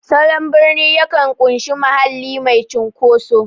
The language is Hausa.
Salon birni yakan ƙunshi mahalli mai cunkoso.